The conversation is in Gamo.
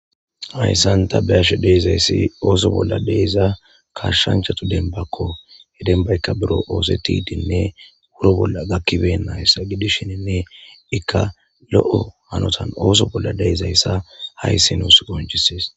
Hayssanta beyashe deezayssi ooso bolla deezaa kashshanchatu denbakko he denbaykka biro oose tiidinne wuro bolla gakkiben nayssa gidishieninne ikka lo'o hanotan ooso bolla deezayssa hayssi nuus goncises.